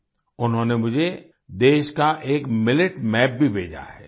उन्होंने मुझे देश का एक मिलेट एमएपी भी भेजा है